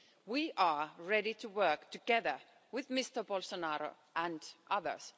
We are ready to work together with Mr Bolsonaro and others.